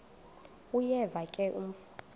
uyeva ke mfo